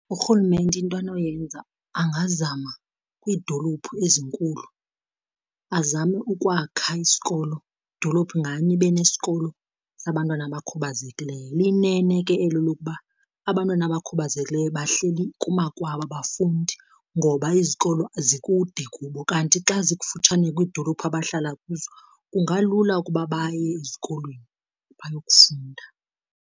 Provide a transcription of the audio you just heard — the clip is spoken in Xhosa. Urhulumente into anoyenza angazama kwiidolophu ezinkulu azame ukwakha isikolo, idolophu nganye ibe nesikolo sabantwana abakhubazekileyo. Liyinene ke elo lokuba abantwana abakhubazekileyo bahleli kumakwabo abafundi ngoba izikolo zikude kubo, kanti xa zikufutshane kwiidolophu abahlala kuzo kungalula ukuba baye ezikolweni bayokufunda.